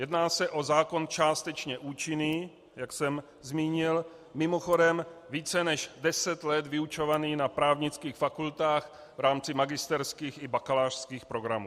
Jedná se o zákon částečně účinný, jak jsem zmínil, mimochodem více než deset let vyučovaný na právnických fakultách v rámci magisterských i bakalářských programů.